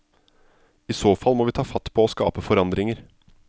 I så fall må vi ta fatt på å skape forandringer.